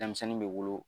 Denmisɛnnin bɛ wolo